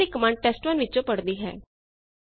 ਇਸ ਲਈ command test one ਵਿੱਚੋਂ ਪੜਦੀ ਹੈ